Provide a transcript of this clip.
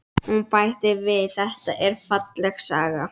Hún bætti við: Þetta er falleg saga.